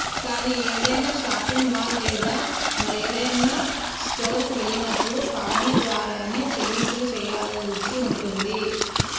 కానీ ఏదైనా shopping mall లేదా మరేదైనా స్టోర్కు వెళ్ళినప్పుడు కార్డుల ద్వారానే చెల్లింపులు చేయాల్సి ఉంటుంది